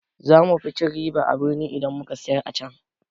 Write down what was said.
Za mu fi cin riba a birni idan muka siyar acan.